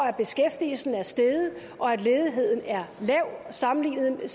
at beskæftigelsen er steget og at ledigheden er lav sammenlignet med